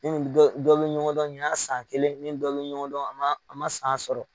dɔ bɔ bɛ ɲɔgɔn dɔn ɲina y'a san kelen ne ni dɔ bɛ ɲɔgɔn dɔn a man a man san sɔrɔ.